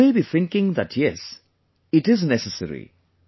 You may be thinking that yes, it is necessary